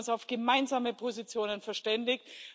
Wir haben uns auf gemeinsame Positionen verständigt.